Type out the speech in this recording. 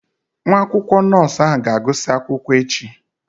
Nwa akwụkwọ nọọsụ ahụ ga-agụsị akwụkwọ echi